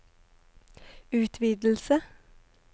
utvidelse